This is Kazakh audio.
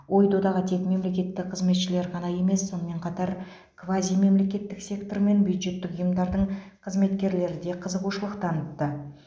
ой додаға тек мемлекеттік қызметшілер ғана емес сонымен қатар квазимемлекеттік сектор мен бюджеттік ұйымдардың қызметкерлері де қызығушылық танытты